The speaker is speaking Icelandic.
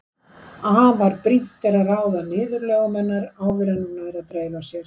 Afar brýnt er að ráða niðurlögum hennar áður en að hún nær að dreifa sér.